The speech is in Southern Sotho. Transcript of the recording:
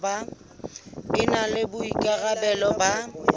e na le boikarabelo ba